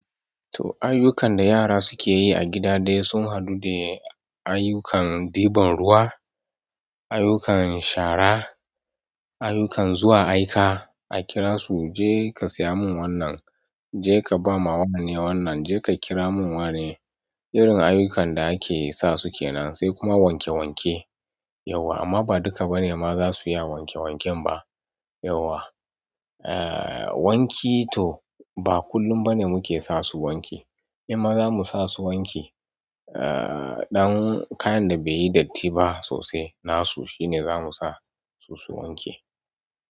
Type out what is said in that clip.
To ayyukan da yara suke yi a gida dai sun haɗu de ayyukan ɗiban ruwa, ayyukan shara, ayyukan zuwa aika, a kira su "je ka saya mun wannan, je ka ba ma wane wannan, je ka kira mun wane." Irin ayyukan da ake sa su ke nan, sai kuma wanke wanke yauwa amma ba duka bane ma za su iya wanke wanken ba yauwa. Ah wanki to ba kullum bane muke sa su wanki, imma za mu sa su wanki ah ɗan kayan da bai yi datti ba sosai nasu shine za mu sa su su wanke.